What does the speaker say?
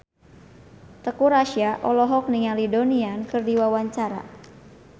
Teuku Rassya olohok ningali Donnie Yan keur diwawancara